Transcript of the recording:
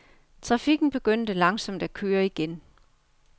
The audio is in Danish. Trafikken begyndte langsomt at køre igen.